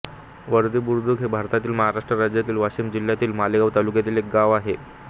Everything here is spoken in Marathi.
वारदरीबुद्रुक हे भारतातील महाराष्ट्र राज्यातील वाशिम जिल्ह्यातील मालेगाव तालुक्यातील एक गाव आहे